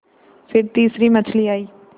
फिर तीसरी मछली आई